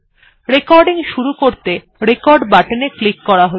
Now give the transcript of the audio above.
recording শুরু করতে record বাটনে ক্লিক করুনকরা হল